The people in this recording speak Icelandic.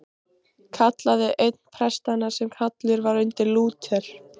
kallaði einn prestanna sem hallur var undir Lúter.